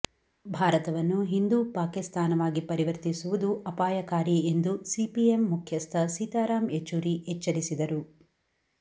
ಭಾರತವನ್ನು ಹಿಂದೂ ಪಾಕಿಸ್ತಾನವಾಗಿ ಪರಿವರ್ತಿಸುವುದು ಅಪಾಯಕಾರಿ ಎಂದು ಸಿಪಿಎಂ ಮುಖ್ಯಸ್ಥ ಸೀತಾರಾಂ ಯೆಚೂರಿ ಎಚ್ಚರಿಸಿದರು